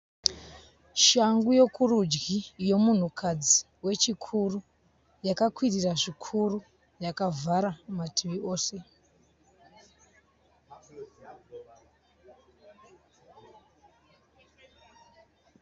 Shangu yokurudyi yomunhukadzi wechikuru. Yakakwirira zvikuru. Yakavhara mativi ose.